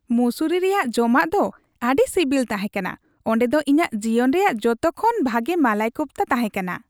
ᱢᱚᱥᱩᱨᱤ ᱨᱮᱭᱟᱜ ᱡᱚᱢᱟᱜ ᱫᱚ ᱟᱹᱰᱤ ᱥᱤᱵᱤᱞ ᱛᱟᱦᱮᱸ ᱠᱟᱱᱟ ᱾ ᱚᱸᱰᱮ ᱫᱚ ᱤᱧᱟᱜ ᱡᱤᱭᱚᱱ ᱨᱮᱭᱟᱜ ᱡᱚᱛᱚ ᱠᱷᱚᱱ ᱵᱷᱟᱜᱮ ᱢᱟᱞᱟᱭ ᱠᱳᱯᱷᱛᱟ ᱛᱟᱦᱮᱸᱠᱟᱱᱟ ᱾